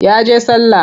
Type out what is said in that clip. Ya je sallah.